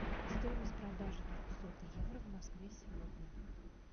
стоимость продажи двухсот евро в москве сегодня